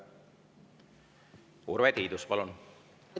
Urve Tiidus, palun!